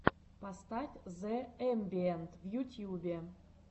поставь зэ эмбиэнт в ютьюбе